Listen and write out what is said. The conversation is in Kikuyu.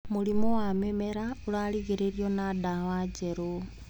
Mũrimũ wa mĩmera ũrarigĩrĩrio nĩ ndawa njerũ.